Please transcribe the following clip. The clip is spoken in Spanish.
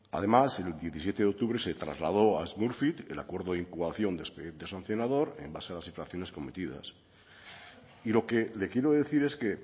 además el diecisiete de octubre se trasladó a smurfit el acuerdo de incoación de expediente sancionar en base a las infracciones cometidas y lo que le quiero decir es que